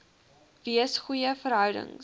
wees goeie verhoudings